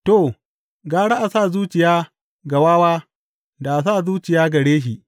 To, gara a sa zuciya ga wawa da a sa zuciya gare shi.